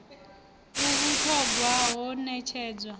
a vhut hogwa ho netshedzwa